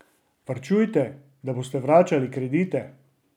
Varčujte, da boste vračali kredite!